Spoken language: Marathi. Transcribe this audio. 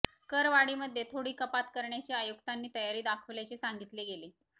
करवाढीमध्ये थोडी कपात करण्याची आयुक्तांनी तयारी दाखवल्याचे सांगितले गेले